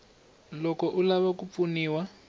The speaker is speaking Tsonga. loko u lava ku pfuniwa